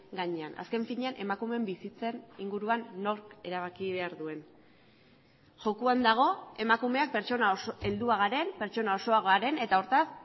gainean azken finean emakumeen bizitzen inguruan nork erabaki behar duen jokoan dago emakumeak pertsona heldua garen pertsona osoa garen eta hortaz